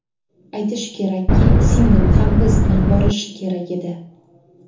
Aytish kerakki, singlim ham biz bilan borishi kerak edi.